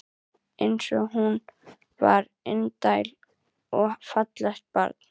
Eins og hún var indælt og fallegt barn.